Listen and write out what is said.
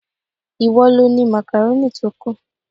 Ìwọ lo ni makaroni tó kù.